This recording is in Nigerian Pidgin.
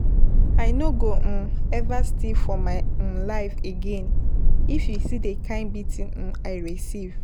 I no go um ever steal for my um life again. If you see the kin beating um I receive.